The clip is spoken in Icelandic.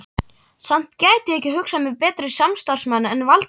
Samt gæti ég ekki hugsað mér betri samstarfsmann en Valdimar